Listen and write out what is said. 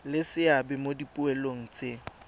le seabe mo dipoelong tse